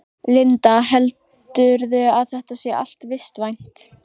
Linda: Heldurðu að þetta sé allt vistvænt?